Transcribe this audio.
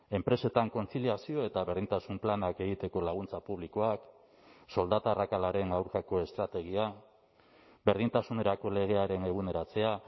enpresetan kontziliazio eta berdintasun planak egiteko laguntza publikoak soldata arrakalaren aurkako estrategia berdintasunerako legearen eguneratzea